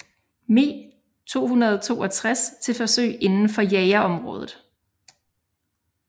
Me 262 til forsøg indenfor jagerområdet